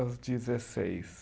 Aos dezesseis.